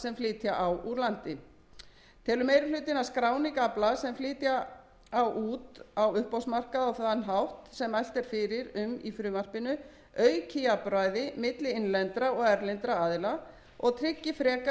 flytja á úr landi telur meiri hlutinn að skráning afla sem flytja á út á uppboðsmarkað á þann hátt sem mælt er fyrir um í frumvarpinu auki jafnræði milli innlendra og erlendra aðila og tryggi frekari